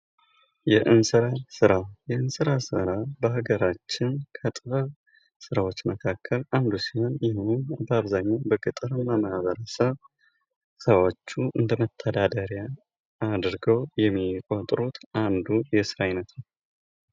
የእንስራ ስራ:- የእንስራ ስራ በሀገራችን ከጥበብ ስራዎች መካከል አንዱ ሲሆን ይህም በአብዛኛዉ በገጠር ማህበረሰብ ስራዎቹይ አንዱ እንደ መተዳደሪያ አድርገዉ የሚቆጥሩት የስራ አይነት ነዉ።